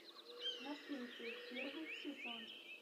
наследие первый сезон